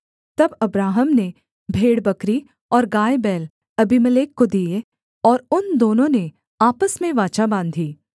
तब अब्राहम ने भेड़बकरी और गायबैल अबीमेलेक को दिए और उन दोनों ने आपस में वाचा बाँधी